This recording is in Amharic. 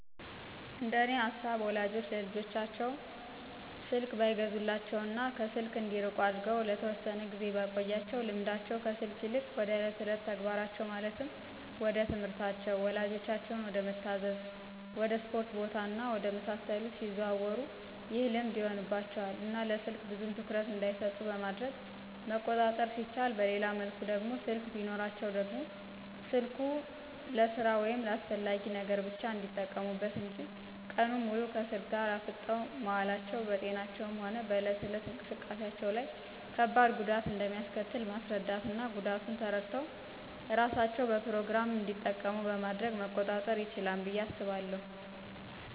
እንደኔ ሃሳብ ወላጆች ለልጆቻቸው ተው ስልክ ባይገዙላቸው እና ከስልክ እንዲርቁ አርገው ለተወሰነ ጊዜ ቢያቆዪአቸው ልምዳቸው ከስልክ ይልቅ ወደ እለት እለት ተግባራቸው ማለትም ወደትምህርታቸው፣ ወላጆቻቸውን ወደመታዛዝ፣ ወድ እስፖርት ቦታ እና ወደ መሳሰሉት ሲያዘወትሩ ይህ ልምድ ይሆንባቸው እና ለስልክ ብዙም ትኩረት እንዳይሰጡት በማድረግ መቆጣጠር ሲቻል በሌላ መልኩ ደግሞ ስልክ ቢኖራቸውም ደግሞ ስልኩን ልስራ ወይም ለአስፈላጊ ነገር ብቻ እንዲጠቀሙበት እንጅ ቀኑን ሙሉ ከስልክ ጋር አፍጠው መዋላቸው በጤናቸውም ሆነ በእለት እለት እንቅስቃሴዎቻቸው ላይ ከባድ ጉዳት እንደሚአስከትል ማስራዳት እና ጉዳቱን ተረድተው እራሳቸው በፕሮግራም እንዲጠቀሙ በማድረግ መቆጣጠር ይችላል ብዬ አስባለሁ።